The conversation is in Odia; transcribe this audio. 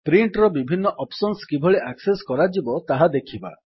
ପ୍ରିଣ୍ଟ୍ ର ବିଭିନ୍ନ ଅପ୍ସନ୍ସ କିଭଳି ଆକ୍ସେସ୍ କରାଯିବ ତାହା ଦେଖିବା